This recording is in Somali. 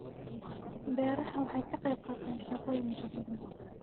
Beeruhu waxay ka qaybqaataan shaqooyin badan.